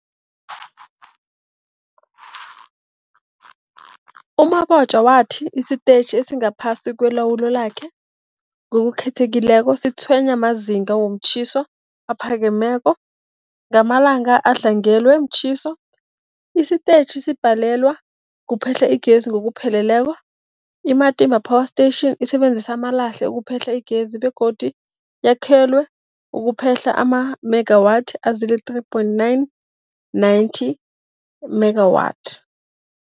U-Mabotja wathi isitetjhi esingaphasi kwelawulo lakhe, ngokukhethekileko, sitshwenywa mazinga womtjhiso aphakemeko. Ngamalanga adlangelwe mtjhiso, isitetjhi sibhalelwa kuphehla igezi ngokupheleleko. I-Matimba Power Station isebenzisa amalahle ukuphehla igezi begodu yakhelwe ukuphehla amamegawathi azii-3 point 9 90 megawatts.